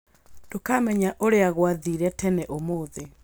ndũkamenya ũrĩa gwathire tene ũmũthĩ